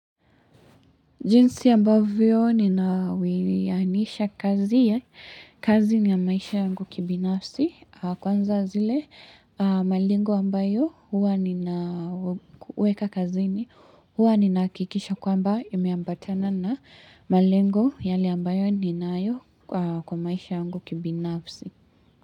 Jinsi ambavyo ninawianisha kazi ya kazi ni ya maisha yangu kibinafsi kwanza zile malengo ambayo huwa ninaweka kazini huwa ninahakikisha kwamba imeambatana na malengo yale ambayo ninayo kwa maisha yangu kibinafsi.